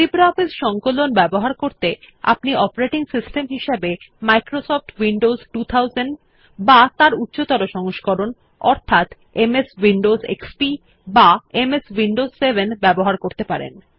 LibreOffice সংকলন ব্যবহার করতে আপনি অপারেটিং সিস্টেম হিসাবে মাইক্রোসফট উইন্ডোজ 2000 বা তার উচ্চতর সংস্করণ অর্থাৎ এমএস উইন্ডোজ এক্সপি বা এমএস উইন্ডোজ 7 ব্যবহার করতে পারেন